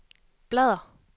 bladr